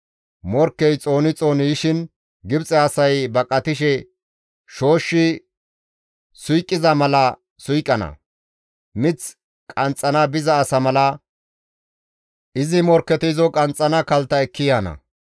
Morkkey xooni xooni yishin Gibxe asay baqatishe shooshshi suyqiza mala suyqana; mith qanxxana biza asa mala izi morkketi izo qanxxana kaltta ekki yaana.